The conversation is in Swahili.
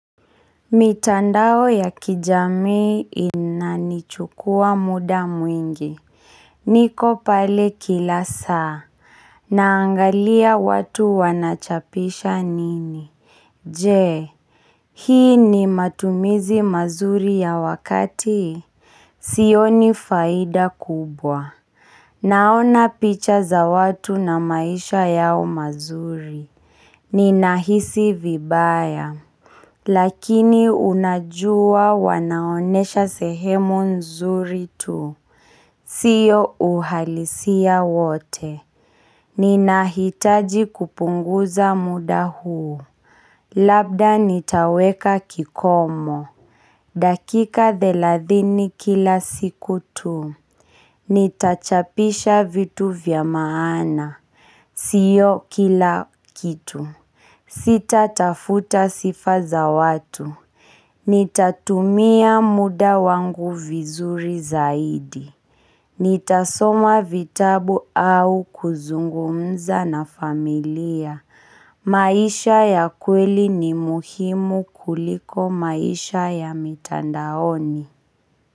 Mitandao ya kijamii inanichukua muda mwingi niko pale kila saa Naangalia watu wanachapisha nini Je, hii ni matumizi mazuri ya wakati? Sioni faida kubwa Naona picha za watu na maisha yao mazuri Ninahisi vibaya lakini unajua wanaonyesha sehemu nzuri tu. Sio uhalisia wote. Ninahitaji kupunguza muda huu Labda nitaweka kikomo. Dakika thelathini kila siku tuu. Nitachapisha vitu vya maana Sio kila kitu. Sitatafuta sifa za watu Nitatumia muda wangu vizuri zaidi Nitasoma vitabu au kuzungumza na familia. Maisha ya kweli ni muhimu kuliko maisha ya mitandaoni.